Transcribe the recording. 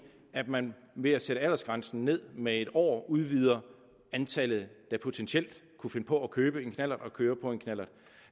at man ved at sætte aldersgrænsen ned med en år udvider antallet der potentielt kunne finde på at købe en knallert og køre på en knallert